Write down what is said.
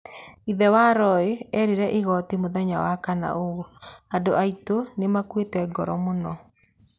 Ithe wa Roy eerire igooti mũthenya wa Wakana ũũ: "Andũ aitũ nĩ maakuĩte ngoro mũno.